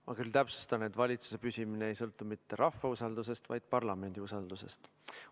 Ma täpsustan, et valitsuse püsimine ei sõltu mitte rahva usaldusest, vaid parlamendi usaldusest.